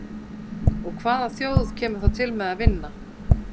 Og hvaða þjóð kemur þá til með að vinna?